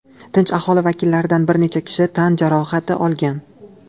Tinch aholi vakillaridan bir necha kishi tan jarohati olgan.